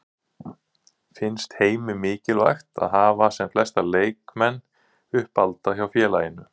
Finnst Heimi mikilvægt að hafa sem flesta leikmenn uppalda hjá félaginu?